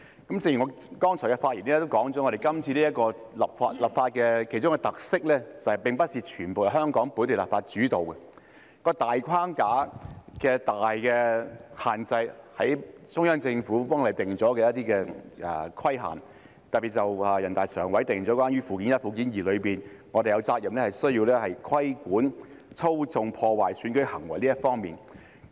正如我剛才的發言指出，今次立法的其中一個特色是，並非全部由香港本地立法主導，當中的大框架、最大的限制是中央政府為香港定下的一些規限，特別是全國人大常委會在《基本法》附件一及附件二中訂明，我們有責任規管操縱、破壞選舉的行為這方面。